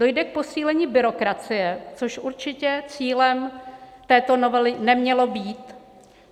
Dojde k posílení byrokracie, což určitě cílem této novely nemělo být.